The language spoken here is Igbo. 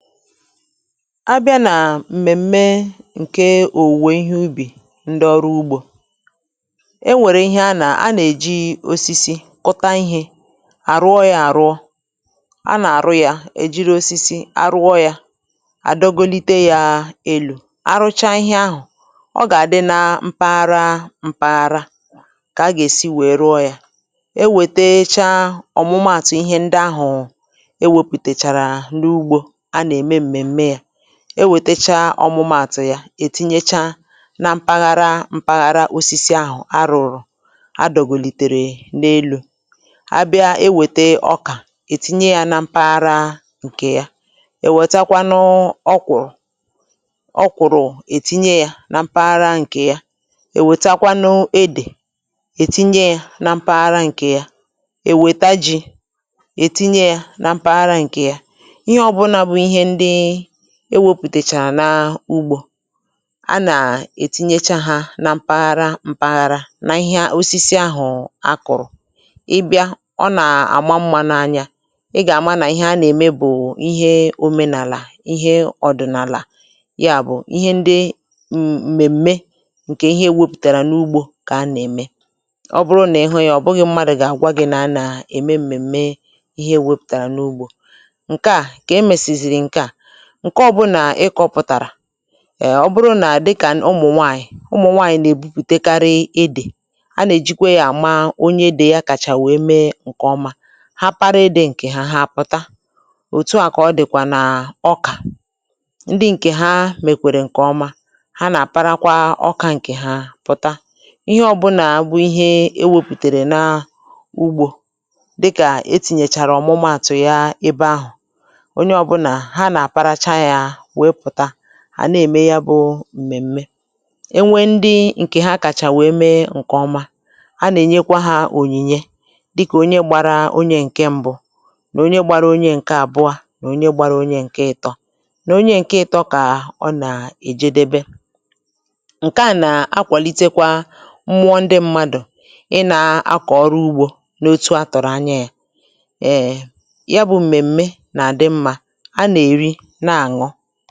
A bịa nà m̀mèm̀me ǹke òwùwè ihe ubì ndị ọrụ ugbȯ, e nwèrè ihe a nà a nà-èji osisi kụta ihė, àrụọ yȧ àrụọ, a nà-àrụ yȧ, èjiri osisi arụọ yȧ àdọgolite yȧ èlù arụcha ihe ahụ̀, ọ gà-àdị na mpaghara mpaghara, kà a gà-èsi wèe rụọ yȧ, ewètecha ọ̀mụmaàtụ̀ ihe ndị ahụ̀ ewėpụ̀tèchàrà n’ugbȯ ana eme m̀mèm̀mè ya, e wètacha ọmụmàtụ̀ ya ètinyecha na mpaghara mpaghara osisi àhụ̀ a rụ̀rụ̀ a dògòlìtèrè n’elu̇, a bịa ewète ọkà ètinye ya na mpaghara ǹkè ya, èwètakwanụ ọkwụ̀rụ̀, ọkwụ̀rụ̀ ètinye ya na mpaghara ǹkè ya, èwètakwanụ edè ètinye ya na mpaghara ǹkè ya, èwète ji ètinye ya na mpaghara ǹkè ya, ìhè ọbula bú ìhè ndị ewepụ̀tàchàrà n’ugbȯ, a nà-ètinyecha hȧ na mpaghara mpaghara n’ihe osisi ahụ̀ a kụ̀rụ̀, ị bịa ọ nà-àma mmȧ n’anya, ị gà-àma nà ihe a nà-ème bụ̀ ihe òmenàlà ihe ọ̀dị̀nàlà, ya bụ̀ ihe ndị m mèm̀me ǹkè ihe ewepụ̀tàrà n’ugbȯ kà a nà-ème, ọ bụrụ nà ị hụ ya ọ̀ bụghị̇ mmadụ̀ gà-àgwa gị̇ na-anà ème m̀mèm̀me ihe e wepụ̀tàrà n’ugbȯ, nkèa ka emesi zìrì nkèa, ǹke ọ̇bụ̇nà ịkọ̇pụ̀tàrà ẹ̀ ọ bụrụ nà dịkà ụmụ̀ nwaànyị̀ ụmụ̀ nwaànyị̀ nà-èbupùtekarị edè, a nà-èjikwe yȧ àma onye edè yȧ kàchà wèe mee ǹkẹ̀ ọma, ha para-edè ǹkè ha ha pụta, òtu à kà ọ dị̀kwà nà ọkà ndị ǹkè ha mèkwèrè ǹkè ọma ha nà-àparakwa ọkà ǹkè ha pụ̀ta, ihe ọbụnà abụ ihe e wepùtèrè nà ugbȯ dịkà etìnyèchàrà ọ̀mụmaàtụ̀ ya ebe ahụ̀, onye obula há ná àparacha yá weé pụta, àna ème ya bụ̇ m̀mèm̀me, enwe ndị ǹkè ha kàchà wèe mee ǹkè ọma a nà-ènyekwa hȧ ònyìnye, dịkà onye gbara onye ǹke mbụ, nà onye gbara onye ǹke àbụọ a, nà onye gbara onye ǹke ịtọ, nà onye ǹke ịtọ kà ọ nà èje debe, ǹke a nà akwàlitekwa mmụọ ndị mmadụ̀ ị nȧ akọ̀ ọrụ ugbȯ n’otu a tọ̀rọ̀ anya yȧ um ya bụ̇ m̀mèm̀me nà àdị mmȧ ana eri na aṅụ.